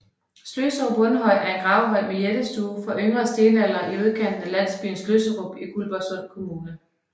Sløserup Rundhøj er en gravhøj med jættestue fra yngre stenalder i udkanten af landsbyen Sløsserup i Guldborgsund Kommune